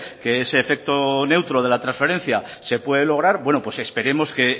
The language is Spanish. que ese efecto neutro de la trasferencia se puede lograr bueno pues esperemos que